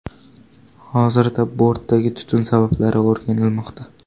Hozirda bortdagi tutun sabablari o‘rganilmoqda.